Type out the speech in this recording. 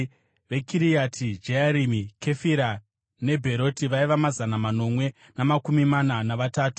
veKiriati Jearimi, Kefira, neBheroti vaiva mazana manomwe namakumi mana navatatu;